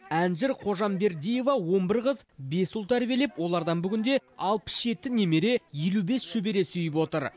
әнжыр қожамбердиева он бір қыз бес ұл тәрбиелеп олардан бүгінде алпыс жеті немере елу бес шөбере сүйіп отыр